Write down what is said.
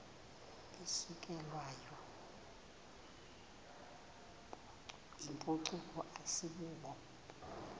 isukelwayo yimpucuko asibubo